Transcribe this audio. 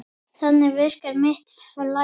Þannig virkar mitt flæði.